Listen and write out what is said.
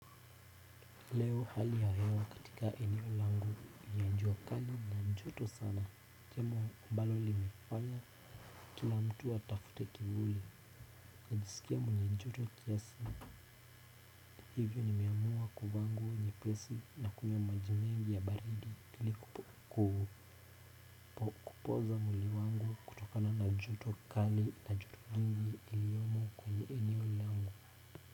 Leo hali ya hewa katika eneo langu ni ya jua kali na ni joto sana jambo ambalo linafanya kila mtu atafute kivuli najisikia mwenye joto kiasi hivyo nimeamua kuvaa nguo nyepesi na kunywa maji mengi ya baridi ili kupoza mwili wangu kutokana na joto kali na joto jingi lililomo kwenye eneo langu.